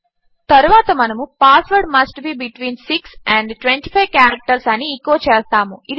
తరువాత మనము password must be between 6 and 25 characters అని ఎచో చేస్తాము